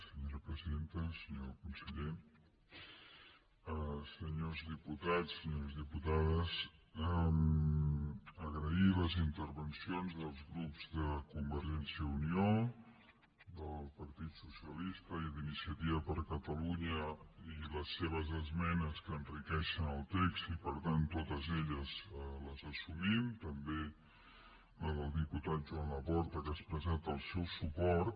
senyor conseller senyors diputats senyores diputades agrair les intervencions dels grups de convergència i unió del partit socialista i d’iniciativa per catalunya i les seves esmenes que enriqueixen el text i per tant totes elles les assumim també la del diputat joan laporta que ha expressat el seu suport